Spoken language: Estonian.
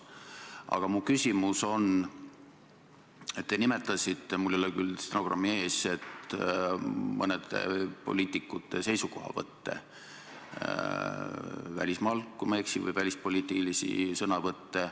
Aga mu küsimus on selle kohta, et te nimetasite – mul ei ole küll stenogrammi ees – mõnede poliitikute välismaal tehtud seisukohavõtte, kui ma ei eksi, või välispoliitilisi sõnavõtte.